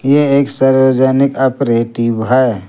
यह एक सार्वजनिक ऑपरेटिव है।